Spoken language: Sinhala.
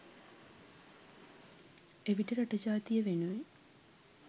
එවිට රට ජාතිය වෙනුවෙන්